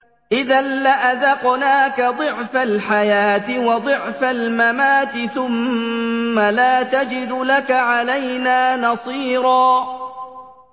إِذًا لَّأَذَقْنَاكَ ضِعْفَ الْحَيَاةِ وَضِعْفَ الْمَمَاتِ ثُمَّ لَا تَجِدُ لَكَ عَلَيْنَا نَصِيرًا